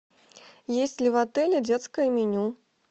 есть ли в отеле детское меню